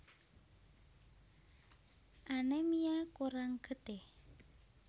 Anemia kurang getih